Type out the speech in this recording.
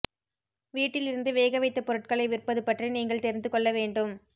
வீட்டிலிருந்து வேகவைத்த பொருட்களை விற்பது பற்றி நீங்கள் தெரிந்து கொள்ள வேண்டும்